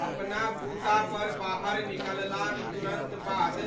अपना बूतापर बाहर निकललाक तुरन्त बाद